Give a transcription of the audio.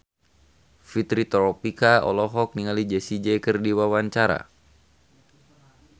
Fitri Tropika olohok ningali Jessie J keur diwawancara